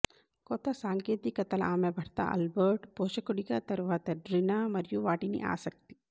కొత్త సాంకేతికతల ఆమె భర్త ఆల్బర్ట్ పోషకుడిగా తరువాత డ్రినా మరియు వాటిని ఆసక్తి